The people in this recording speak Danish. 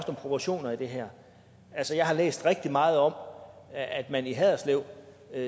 proportioner i det her altså jeg har læst rigtig meget om at man i haderslev